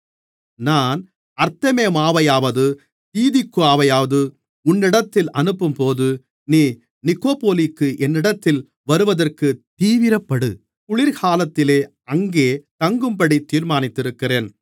நான் அர்த்தெமாவையாவது தீகிக்குவையாவது உன்னிடத்தில் அனுப்பும்போது நீ நிக்கொப்போலிக்கு என்னிடத்தில் வருவதற்குத் தீவிரப்படு குளிர்காலத்திலே அங்கே தங்கும்படி தீர்மானித்திருக்கிறேன்